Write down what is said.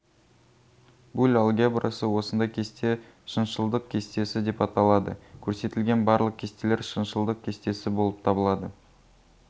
буль алгебрасы осындай кесте шыншылдық кестесі деп аталады көрсетілген барлық кестелер шыншылдық кестесі болып табылады